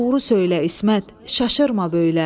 Doğru söylə, İsmət, şaşırma böylə.